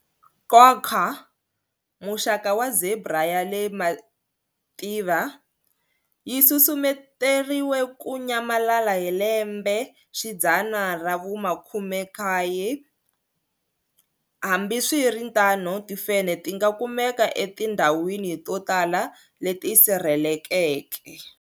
Quagga muxaka wa zebra ya le mativa, yi susumeteriwe ku nyamalala hi lembexidzana ra vu-19. Hambi swi ri tano, timfenhe ti nga kumeka etindhawini to tala leti sirhelelekeke.